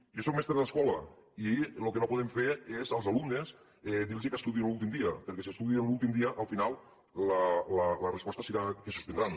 jo sóc mestre d’escola i lo que no podem fer és als alumnes dirlos que estudiïn l’últim dia perquè si estudien l’últim dia al final la resposta serà que suspendran